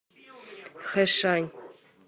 хэшань